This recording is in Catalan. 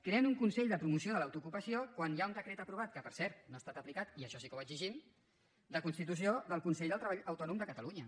creen un consell de promoció de l’autoocupació quan hi ha un decret aprovat que per cert no ha estat aplicat i això sí que ho exigim de constitució del consell del treball autònom de catalunya